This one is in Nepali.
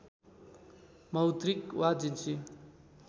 मौद्रिक वा जिन्सी